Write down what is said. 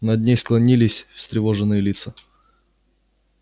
над ней склонились встревоженные лица